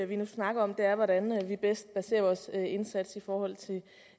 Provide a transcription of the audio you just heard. vi nu snakker om er hvordan vi bedst baserer vores indsats